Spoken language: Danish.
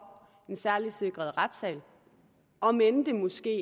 en særligt sikret retssal om end det måske